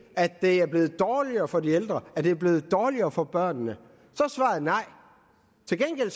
er blevet dårligere for de ældre og at det er blevet dårligere for børnene så er svaret nej til gengæld